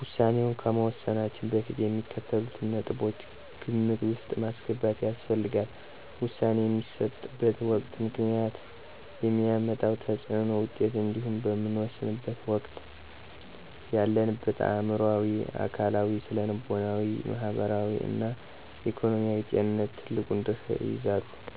ውሳኔ ከመወሰናችን በፊት የሚከተሉትን ነጥቦች ግምት ውስጥ ማስገባት ያስፈልጋል። - ውሳኔ የሚሰጥበት ወቅት፣ ምክንያት፣ የሚያመጣው ተፅዕኖና ውጤት እንዲሁም በምንወሰንበት ወቅት ያለንበት አዕምሮአዊ፣ አካላዊ፣ ስነልቦናዊ፣ ማህበራዊ እና ኢኮኖሚያዊ ጤንነት ትልቁን ድርሻ ይይዛሉ።